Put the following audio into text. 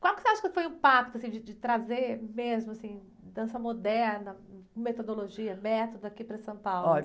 Qual que você acha que foi o impacto de, de trazer mesmo, assim, dança moderna, com metodologia, método aqui para São Paulo?